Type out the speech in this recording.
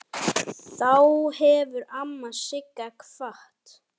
Þá hefur amma Sigga kvatt.